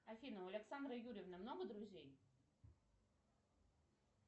афина у александры юрьевны много друзей